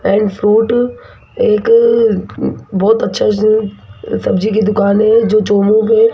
and fruit एक बहुत अच्छा से सब्जी की दुकान है जो चोमू के--